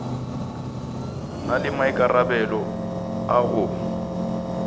na le maikarabelo a go